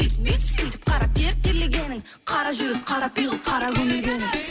өйтіп бүйтіп сөйтіп қара тер терлегенің қара жүріс қара пиғыл қара көмілгенің